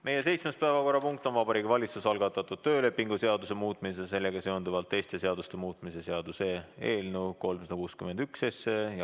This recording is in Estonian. Meie seitsmes päevakorrapunkt on Vabariigi Valitsuse algatatud töölepingu seaduse muutmise ja sellega seonduvalt teiste seaduste muutmise seaduse eelnõu 361.